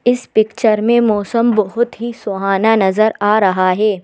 इस पिक्चर में मौसम बहुत ही सुहाना नजर आ रहा है।